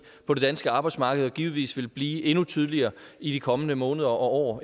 på det danske arbejdsmarked og givetvis vil blive endnu tydeligere i de kommende måneder og